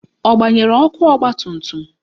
Ọ gbanyere ọkụ ọgbatumtum?